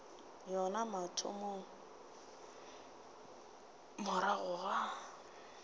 yona ya mathomo morago ga